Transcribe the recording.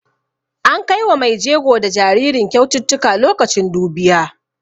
An kai wa mai jego da jaririn kyaututtuka lokacin dubiya.